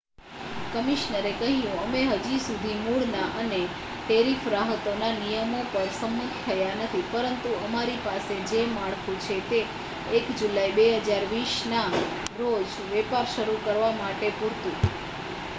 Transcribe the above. "કમિશનરે કહ્યું "અમે હજી સુધી મૂળના અને ટેરિફ રાહતોના નિયમો પર સંમત થયા નથી પરંતુ અમારી પાસે જે માળખું છે તે 1 જુલાઇ 2020 ના રોજ વેપાર શરૂ કરવા માટે પૂરતું"".